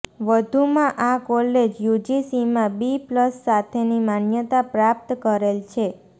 વધુમાં આ કોલેજ યુજીસીમાં બી પ્લસ સાથેની માન્યતા પ્રાપ્ત કરેલ છે